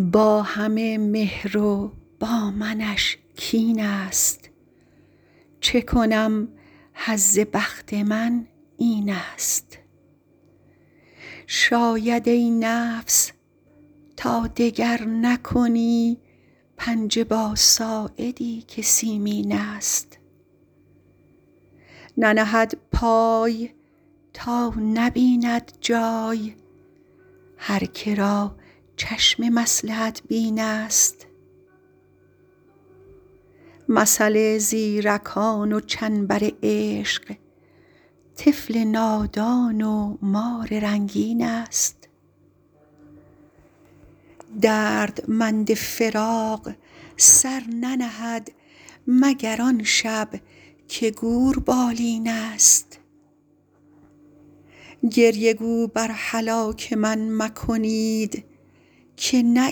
با همه مهر و با منش کین ست چه کنم حظ بخت من این ست شاید ای نفس تا دگر نکنی پنجه با ساعدی که سیمین ست ننهد پای تا نبیند جای هر که را چشم مصلحت بین ست مثل زیرکان و چنبر عشق طفل نادان و مار رنگین ست دردمند فراق سر ننهد مگر آن شب که گور بالین ست گریه گو بر هلاک من مکنید که نه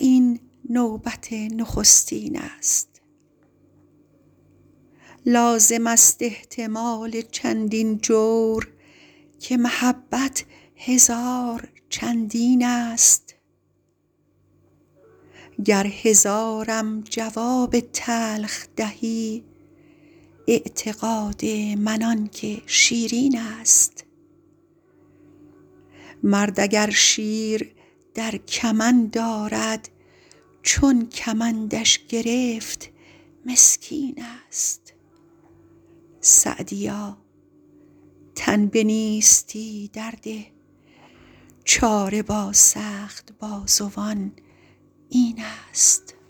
این نوبت نخستین ست لازم است احتمال چندین جور که محبت هزار چندین ست گر هزارم جواب تلخ دهی اعتقاد من آن که شیرین ست مرد اگر شیر در کمند آرد چون کمندش گرفت مسکین ست سعدیا تن به نیستی در ده چاره با سخت بازوان این ست